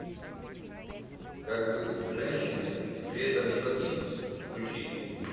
как быть женщиной и при этом не погибнуть включи